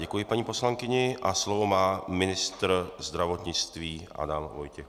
Děkuji paní poslankyni a slovo má ministr zdravotnictví Adam Vojtěch.